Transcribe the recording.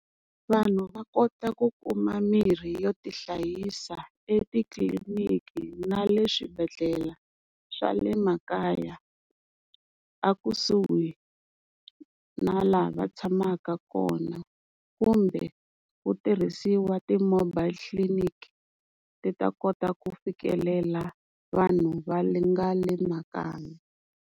Vanhu va kota ku kuma mirhi yo tihlayisa etitliliniki na le swibedhlele swa le makaya, ekusuhi na laha va tshamaka kona kumbe ku tirhisiwa ti-mobile clinic ti ta kota ku fikelela vanhu va nga le makaya.